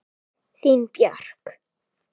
Þín Björk.